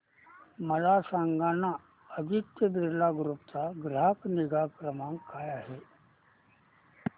मला सांगाना आदित्य बिर्ला ग्रुप चा ग्राहक निगा क्रमांक काय आहे